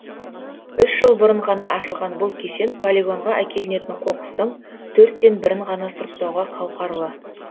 үш жыл бұрын ғана ашылған бұл кешен полигонға әкелінетін қоқыстың төрттен бірін ғана сұрыптауға қауқарлы